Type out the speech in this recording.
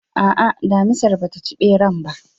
A'a, damisar bata ci ɓeran ba